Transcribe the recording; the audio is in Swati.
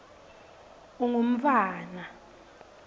ungumntfwana